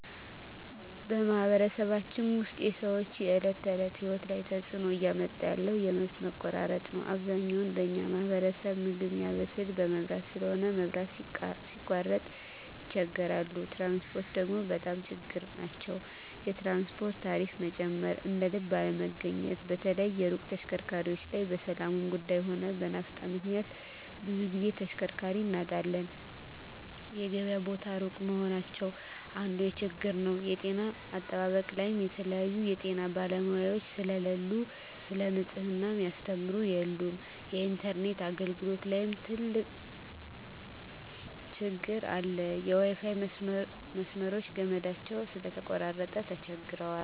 በማኅበረሰባችን ውስጥ የሰዎች የዕለት ተእለት ህይወት ላይ ትጽእኖ እያመጣ ያለው የመብት መቆራረጥ ነዉ አብዛኛው በኛ ማህበረሰብ ምግብ ሚያበስል በመብራት ስለሆነ መብራት ሲቃረጥ ይቸገራሉ ትራንስፖርት ደግሞ በጣም ችግር ናቸዉ የትራንስፖርት ታሪፋ መጨመር እደልብ አለመገኘት በተለይ የሩቅ ተሽከርካሪዎች ላይ በሠላሙም ጉዱይ ሆነ በናፍጣ ምክንያት ብዙ ግዜ ተሽከርካሪ እናጣለን የገበያ ቦታ እሩቅ መሆናቸው አንዱ ችግር ነዉ የጤና አጠባበቅ ላይም የተለያዩ የጤና ባለሙያዎች ስለሉ ሰለ ንጽሕና ሚያስተምሩ የሉም የኢንተርነት አገልግሎት ላይም ትግር አለ የዋይፋይ መስመሮች ገመዳቸው ስለተቆራረጠ ተቸግረዋል